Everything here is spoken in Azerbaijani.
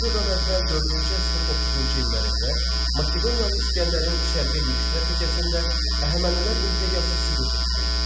Erədən əvvəl dördüncü əsrin 30-cu illərində Makedoniyalı İskəndərin şərqə yürüşü nəticəsində Əhəmənilər imperiyası süqut etdi.